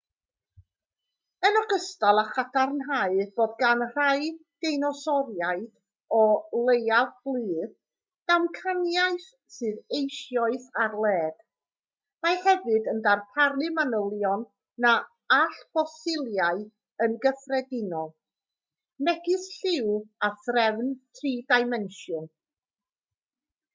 yn ogystal â chadarnhau bod gan rai deinosoriaid o leiaf blu damcaniaeth sydd eisoes ar led mae hefyd yn darparu manylion na all ffosiliau yn gyffredinol megis lliw a threfn tri-dimensiwn